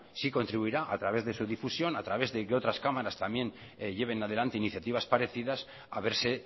sí contribuirá a través de su difusión a través de que otras cámaras también lleven adelante iniciativas parecidas a verse